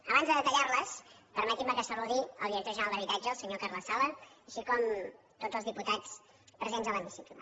abans de detallar les permetin me que saludi al director general d’habitatge el senyor carles sala així com a tots els diputats presents a l’hemicicle